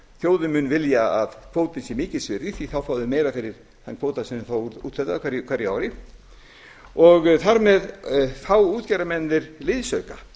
þjóðin mun vilja að kvótinn sé mikils virði því þá fá þeir meira fyrir þann kvóta sem þeir fá úthlutaðan á hverju ári og þar með fá útgerðarmennirnir liðsauka